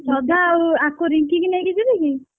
ଶ୍ରଦ୍ଧା ଆଉ ଆକୁ ରିଙ୍କି କି ନେଇକି ଯିବି କି?